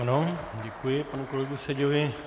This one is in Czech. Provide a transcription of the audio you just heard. Ano, děkuji panu kolegovi Seďovi.